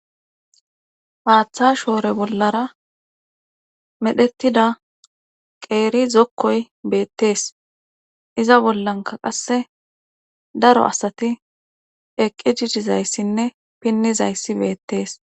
Haaththa shoore bollara medhettida qeeri zokkoy beettees iza bollanka qasse daro asati eqqi jidizayssinne pinnizayssi beettees